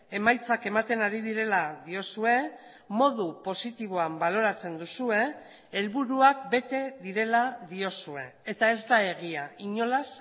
emaitzak ematen ari direla diozue modu positiboan baloratzen duzue helburuak bete direla diozue eta ez da egia inolaz